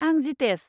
आं जितेस।